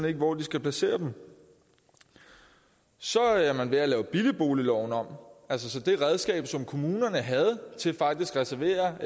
ikke hvor de skal placere dem så er man ved at lave billigboligloven om altså det redskab kommunerne havde til faktisk at reservere